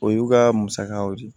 O y'u ka musakaw de ye